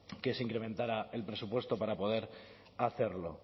que se incrementara el presupuesto para poder a hacerlo